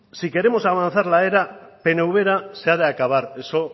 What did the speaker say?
si queremos avanzar la era peneuvera se ha de acabar eso